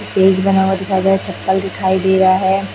Stage बना हुआ दिखाई दे रहा चप्पल दिखाई दे रहा है।